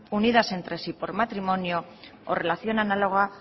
unidas entre sí por matrimonio o relación análoga